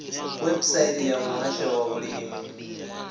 website ya muhasho wa vhulimi